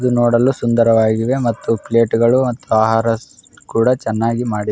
ಇದು ನೋಡಲು ಸುಂದರವಾಗಿದೆ ಮತ್ತು ಪ್ಲೇಟ್ ಗಳು ಮತ್ತೆ ಆಹಾರ ಕೂಡ ಚೆನ್ನಾಗಿ ಮಾಡಿದ್ --